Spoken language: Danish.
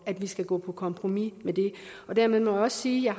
at vi skal gå på kompromis med det dermed må jeg også sige at